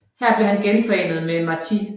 Her blev han genforenet med Martí